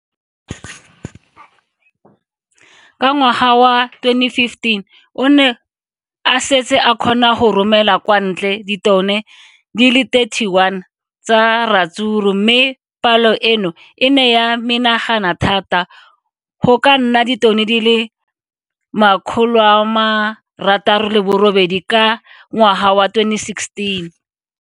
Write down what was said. Ka ngwaga wa 2015, o ne a setse a kgona go romela kwa ntle ditone di le 31 tsa ratsuru mme palo eno e ne ya menagana thata go ka nna ditone di le 168 ka ngwaga wa 2016.